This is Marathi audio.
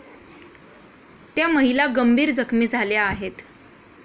त्या महिला गंभीर जखमी झाल्या आहेत.